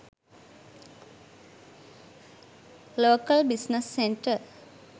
local business centre